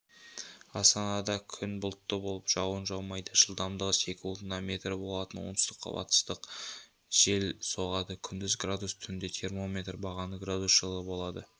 астанада күн бұлтты болып жауын жаумайды жылдамдығы секундына метр болатын оңтүстік-батыстық жел соғады күндіз градус түнде термометр бағаны градус жылы болады